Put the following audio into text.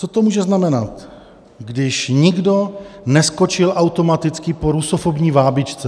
Co to může znamenat, když nikdo neskočil automaticky po rusofobní vábničce.